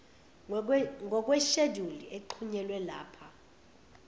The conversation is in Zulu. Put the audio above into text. ngokwesheduli exhunyelwe lapha